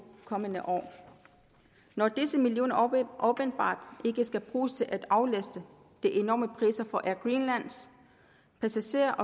kommende år når disse millioner åbenbart ikke skal bruges til at aflaste de enormer priser for air greenlands passagerer